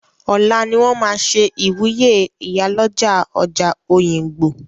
Ọ̀lá ni wọ́n máa ṣe ìwúyè ìyálọ́jà ọjà Òyìngbò.